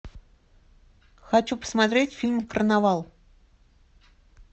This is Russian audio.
хочу посмотреть фильм карнавал